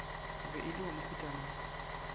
be e le wa mohutamang